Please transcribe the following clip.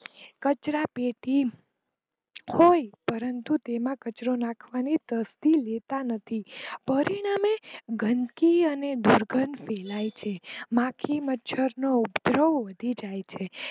કચરા પેટી હોય પરંતુ તેમાં કચરો નાખવાની તસ્તી લેતા નથી પરિણામે ગંદકી અને દુર્ગંધ ફેલાઈ છે માખી મચ્છર નો ઉગર્હ વધી જાય છે.